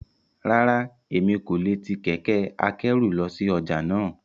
Rárá, Emi ko le ti kẹkẹ-akẹru lọ si ọja náa.